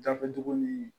Gafe dugu ni